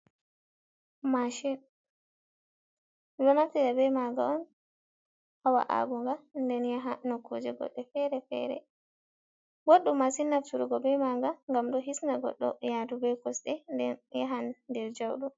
Mashin ɓeɗo naftira ɓe maga on ha waugoga nden yaha no kuje godɗe fere-fere. Boddom mashin nafturgo be maga gam do hisna godɗo yadu be kosɗe, den yahan der jauɗum.